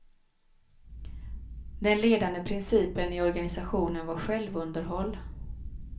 Den ledande principen i organisationen var självunderhåll.